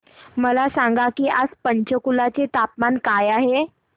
मला सांगा की आज पंचकुला चे तापमान काय आहे